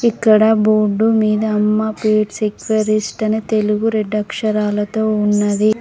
ఇక్కడ బోర్డు మీద Amma pets aquarist అని తెలుగు రెడ్ అక్షరాలతో ఉన్నది.